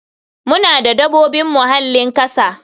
Muna da dabobin muhallin kasa.